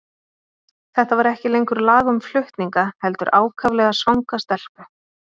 Þetta var ekki lengur lag um flutninga, heldur ákaflega svanga stelpu.